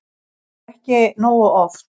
En ekki nógu oft.